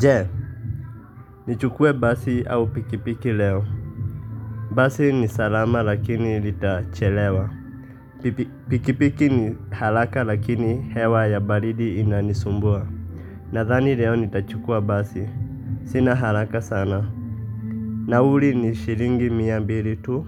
Je, nichukue basi au pikipiki leo. Basi ni salama lakini litachelewa. Pikipiki ni haraka lakini hewa ya baridi inanisumbua. Nadhani leo nitachukua basi, sina haraka sana. Nauri ni shilingi mia mbili tu